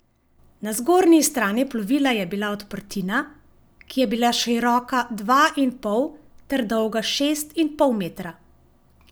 Na zgornji strani plovila je bila odprtina, ki je bila široka dva in pol ter dolga šest in pol metra.